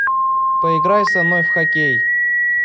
поиграй со мной в хоккей